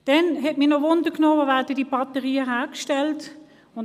Weiter hat es mich interessiert, wo die Batterien hergestellt werden.